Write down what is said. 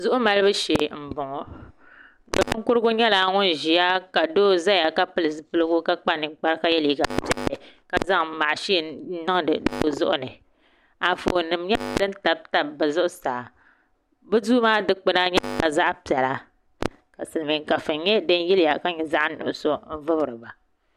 Zuɣu malibu shee n boŋo ninkurigu nyɛla ŋun ʒiya ka doo ʒɛya ka pili zipiligu ka kpa ninkpara ka yɛ liiga piɛlli ka zaŋ mashin nim n niŋdi bi zuɣuni Anfooni nim n nyɛ din tabitabi bi zuɣusaa bi duu maa dikpuna nyɛla zaɣ piɛla ka silmiin kafuni nyɛ din yiliya ka nyɛ zaɣ nuɣso n vubiriba